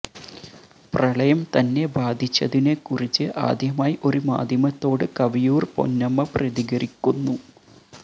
പ്രളയം തന്നെ ബാധിച്ചതിനെ കുറിച്ച് ആദ്യമായി ഒരു മാധ്യമത്തോട് കവിയൂർ പൊന്നമ്മ പ്രതികരിക്കുന്നു